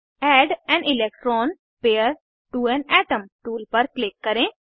add an electron pair to an atom tool पर click करें